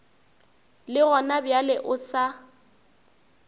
le gona bjale o sa